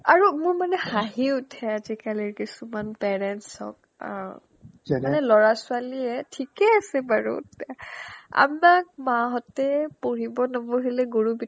আৰু মোৰ মানে হাঁহি উঠে আজিকালিৰ কিছুমান parents ক অ যেনে ল'ৰা-ছোৱালীয়ে ঠিকে আছে বাৰু আমাক মা হতে পঢ়িব নবহিলে গৰু পিটন